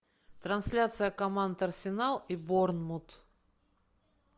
трансляция команд арсенал и борнмут